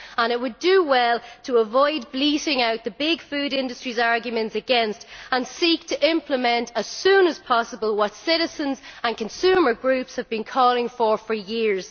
It would do well to avoid bleating out the big food industries' arguments against and seek to implement as soon as possible what citizens and consumer groups have been calling for for years.